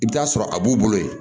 I bɛ t'a sɔrɔ a b'u bolo yen